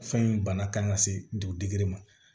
Fɛn in bana kan ka se dugu dege ma